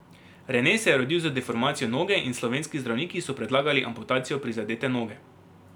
Rene se je rodil z deformacijo noge in slovenski zdravniki so predlagali amputacijo prizadete noge.